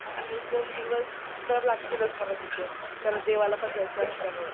आणि एक दोन दिवस तर लागतीलच मला तिकडे. कारण देवालापण पण जायचं आहे त्यामुळे.